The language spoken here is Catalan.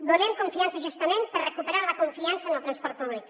donem confiança justament per recuperar la confiança en el transport públic